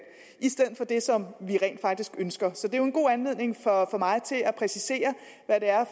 i stedet for det som vi rent faktisk ønsker så det er jo en god anledning for mig til at præcisere hvad det er